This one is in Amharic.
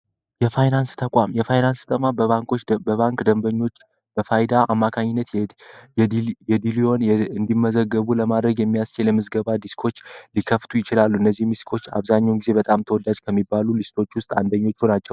የፋይናንስ ተቋም የፋይናንስ በባንኮች በባንክ ደንበኞች በፋይዳ አማካይነት እንዲመዘገቡ ለማድረግ የሚያስችል የምዝገባ ዲኮች የከፍቱ ይችላሉ እነዚህም ሊስቶች አብዛኛውን ጊዜ በጣም ተወላጅ ከሚባሉ ሊስቶች ውስጥ አንደኞቹ ናቸው።